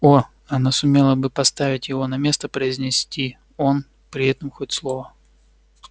о она сумела бы поставить его на место произнести он при этом хоть слово